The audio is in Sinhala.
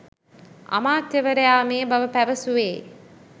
අමාත්‍යවරයා මේ බව පැවැසුවේ